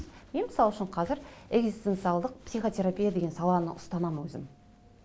мен мысал үшін қазір экзистенциялық психотерапия деген саланы ұстанамын өзім